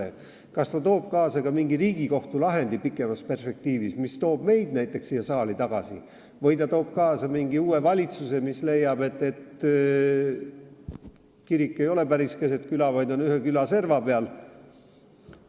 See võib pikemas perspektiivis tuua kaasa mingi Riigikohtu lahendi, mis toob meid näiteks tagasi siia saali, või mingi uue valitsuse, kes leiab, et kirik ei ole päris keset küla, vaid on ühe küla serva peal.